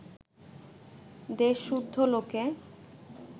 দেশসুদ্ধ লোকে